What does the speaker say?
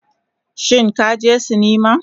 Shin ka je sinima